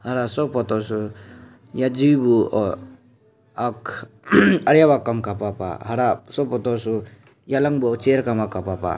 hah soh photo soh yajhi buh ak ariab kapah pah hara soh photo yaling buh chair kapah pah.